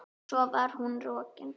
Svo var hún rokin.